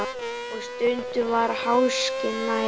Og stundum var háskinn nærri.